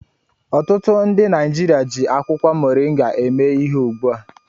Ọtụtụ ndị Naijiria ji akwụkwọ moringa eme ihe ugbu a.